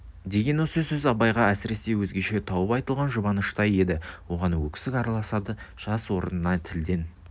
деген осы сөз абайға әсіресе өзгеше тауып айтылған жұбаныштай еді оған өксік араласады жас орнына тілден